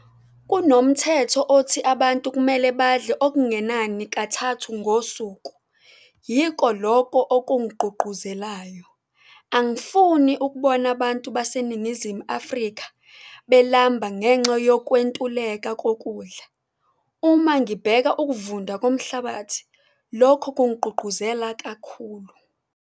Kunomthetho othi abantu kumele badle okungenani kathathu ngosuku - yiko loko okungigqugquzelayo. Angifuni ukubona abantu baseNingizimu Afrika belamba ngenxa yokwentuleka kokudla. Uma ngibheka ukuvunda komhlabathi, lokho kungigqugquzela kakhulu.